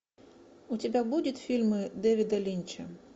у тебя будут фильмы дэвида линча